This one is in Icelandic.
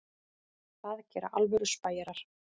Það gera alvöru spæjarar.